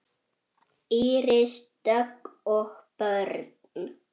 Íris Dögg og börn.